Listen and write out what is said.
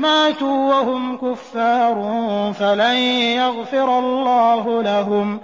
مَاتُوا وَهُمْ كُفَّارٌ فَلَن يَغْفِرَ اللَّهُ لَهُمْ